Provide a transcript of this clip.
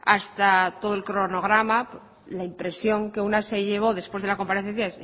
hasta todo el cronograma la impresión que una se llevó después de la comparecencia